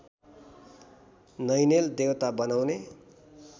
नैनेल देवता बनाउने